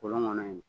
Kɔlɔn kɔnɔ yen